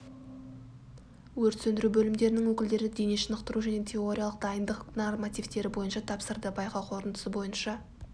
өрт сөндіру бөлімдерінің өкілдері дене шынықтыру және теориялық дайындық нормативтері бойынша тапсырды байқау қорытындысы бойынша